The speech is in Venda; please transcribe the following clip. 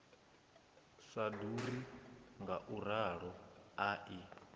sa ḓuri ngauralo a i